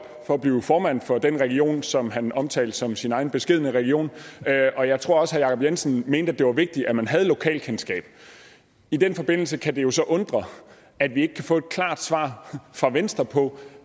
for at blive formand for den region som han omtalte som sin egen beskedne region og jeg tror også herre jacob jensen mente det var vigtigt at man havde lokalkendskab i den forbindelse kan det jo så undre at vi ikke kan få et klart svar fra venstre på